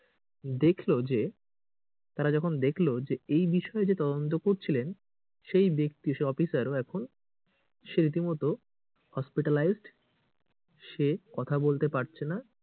দেখলো যে তারা যখন দেখলো যে এই বিষয়ে যে তদন্ত করছিলেন সেই ব্যাক্তি সে অফিসারও এখন সে রীতিমতো hospitalized সে কথা বলতে পারছেনা,